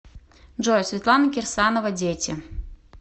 джой светлана кирсанова дети